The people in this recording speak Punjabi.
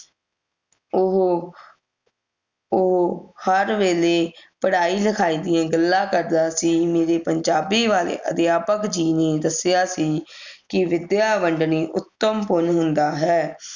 ਓਹੋ ਉਹੋ ਹਰ ਵੇਲੇ ਪੜ੍ਹਾਈ ਲਿਖਾਈ ਦੀਆਂ ਗੱਲਾਂ ਕਰਦਾ ਸੀ ਮੇਰੇ ਪੰਜਾਬੀ ਵਾਲੇ ਅਧਿਆਪਕ ਜੀ ਨੇ ਦੱਸਿਆ ਸੀ ਕਿ ਵਿਦਿਆ ਵੰਡਣੀ ਉੱਤਮ ਪੁੰਨ ਹੁੰਦਾ ਹੈ